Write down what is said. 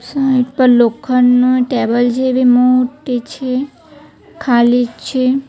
Side પર લોખંડનો table જેવી મોટી છે ખાલી છે.